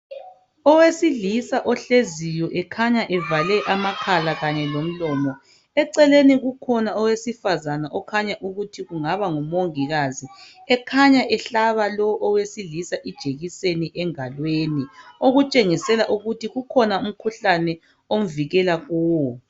Owesilisa ohleziyo ekhanya evale amakhala kanye lomlomo. Eceleni kukhona owesifazane okukhanya ukuthi kungaba ngumongikazi ekhanya ehlaba lo owesilisa ijekiseni engalweni okutshengisela ukuthi kukhona umkhuhlane omvikela kuwo..